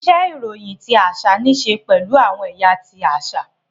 Iṣe iroyin ti aṣa nii ṣe pẹlu awọn ẹya ti aṣa.